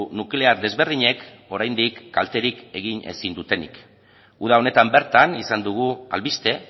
nuklear desberdinek oraindik kalterik egin ezin dutenik uda honetan bertan izan dugu albiste